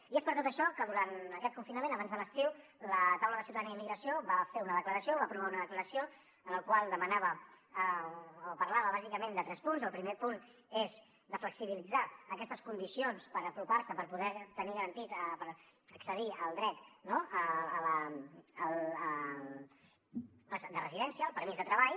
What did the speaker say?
i és per tot això que durant aquest confinament abans de l’estiu la taula de ciutadania i immigració va fer una declaració va aprovar una declaració en la qual demanava o parlava bàsicament de tres punts el primer punt és flexibilitzar aquestes condicions per apropar se per poder tenir garantit accedir al dret de residència el permís de treball